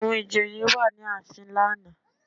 Àwọn ìjòyè wà ní ààfin lánàá